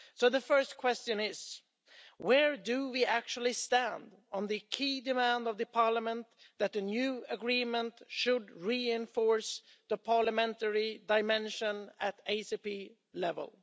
The first question is where do we actually stand on the key demand of Parliament that the new agreement should reinforce the parliamentary dimension at ACP level?